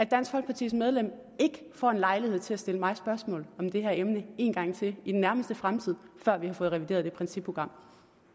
dansk folkepartis medlem ikke får en lejlighed til at stille mig spørgsmål om det her emne en gang til i den nærmeste fremtid før vi har fået revideret det principprogram